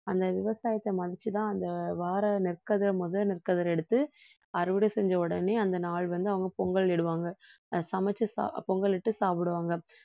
அந்த விவசாயத்த மதிச்சு தான் அந்த வர்ற நெற்கதிரை முதல் நெற்கதிரை எடுத்து அறுவடை செஞ்ச உடனே அந்த நாள் வந்து அவங்க பொங்கலிடுவாங்க சமைச்சு பொங்கலிட்டு சாப்பிடுவாங்க